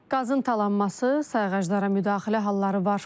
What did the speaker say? Qazın talanması, sayğaclara müdaxilə halları var.